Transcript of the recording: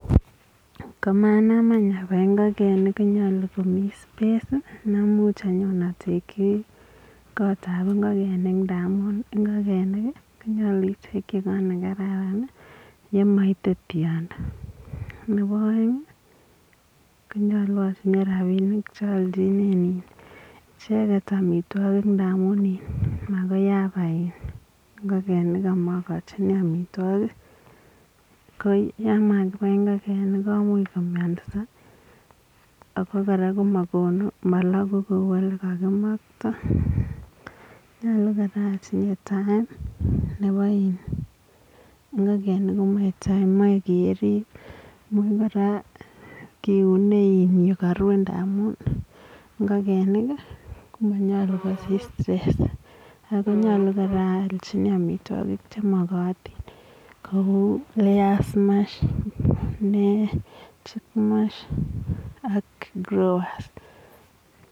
Komonaam aany abai ingogenik konyaluu komii [space] ne muuch inyaa tekyii kot ab ingogenik ndamuun ingogenik ko nyaluu itekyii koot ne kararan ii yemaite tyondo nebo aeng ko nyaluu atinyei rapinik che aljineet ichegeet amitwagiik amuun iin makoi abai ingogenik amakachini amitwagiik ko yaan makibai ingogenik komuuch komiansaa ako kora komakonuu malakuu kou ole kakimaktoi nyalu nebo ingogenik komachei time Mae keriib imuuch kora Mae kiunee ole kaburen ndamuun ii ingogenik ko manyaluu kosiich stress ako nyaluu kora aaljini amitwagiik che magatiin che uu layers [chick mash] ak [growers].